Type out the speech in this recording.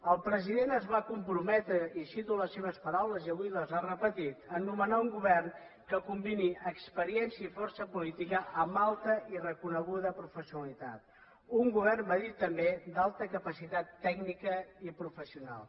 el president es va comprometre i cito les seves paraules i avui les ha repetit a nomenar un govern que combini experiència i força política amb alta i reconeguda professionalitat un govern va dir també d’alta capacitat tècnica i professional